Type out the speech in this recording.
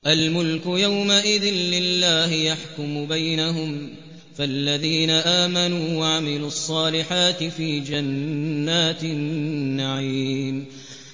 الْمُلْكُ يَوْمَئِذٍ لِّلَّهِ يَحْكُمُ بَيْنَهُمْ ۚ فَالَّذِينَ آمَنُوا وَعَمِلُوا الصَّالِحَاتِ فِي جَنَّاتِ النَّعِيمِ